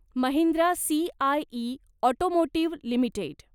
Mahindra CIE automotive limited